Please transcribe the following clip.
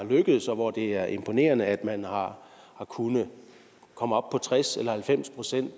lykkedes og hvor det er imponerende at man har kunnet komme op på tres eller halvfems procent